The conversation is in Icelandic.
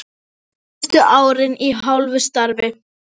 Síðustu árin í hálfu starfi.